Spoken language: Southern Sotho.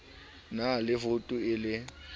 na le voutu e le